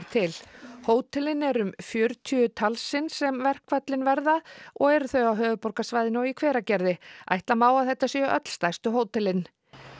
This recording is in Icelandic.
til hótelin eru um fjörutíu talsins þar sem verkföllin verða og eru þau á höfuðborgarsvæðinu og í Hveragerði ætla má að þetta séu öll stærstu hótelin